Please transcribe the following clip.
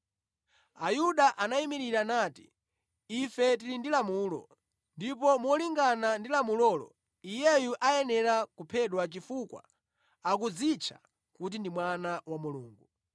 Ayuda anayimirira nati, “Ife tili ndi lamulo, ndipo molingana ndi lamulolo, Iyeyu ayenera kuphedwa chifukwa akudzitcha kuti ndi Mwana wa Mulungu.”